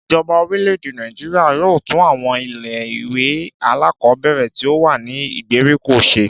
Ìjoba orílè-èdè Nàìjíríà yóò tún àwon ilé ìwé alákòóbèrè tí ó wà ní ìgbèríko se